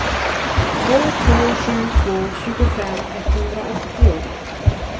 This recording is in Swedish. två två sju två tjugofem etthundraåttio